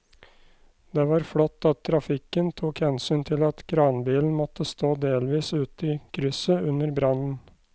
Det var flott at trafikken tok hensyn til at kranbilen måtte stå delvis ute i krysset under brannen.